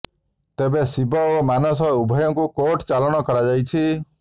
ତେବେ େ ଶିବ ଓ ମାନସ ଉଭୟଙ୍କୁ କୋର୍ଟ ଚାଲାଣ କାରଯାଇଛି